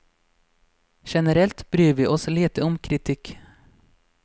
Generelt bryr vi oss lite om kritikk.